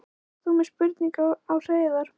Ert þú með spurningu á Hreiðar?